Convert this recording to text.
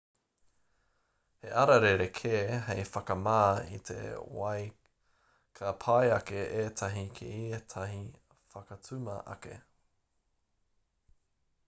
he ara rerekē hei whakamā i te wai ka pai ake ētahi ki ētahi whakatuma ake